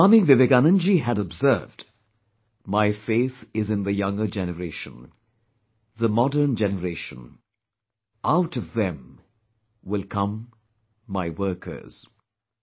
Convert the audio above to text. Swami Vivekanand ji had observed, "My faith is in the younger generation, the modern generation; out of them will come my workers"